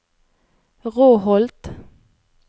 Råholt